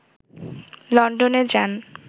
লন্ডনে যান